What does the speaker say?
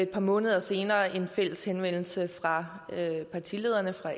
par måneder senere en fælles henvendelse fra partilederne for